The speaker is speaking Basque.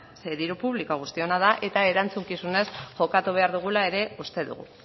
zeren diru publikoa guztiona da eta erantzukizunez jokatu behar dugula ere uste dugu